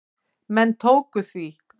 Menn tóku því.